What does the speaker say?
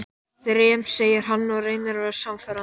Þrem, segir hann og reynir að vera sannfærandi.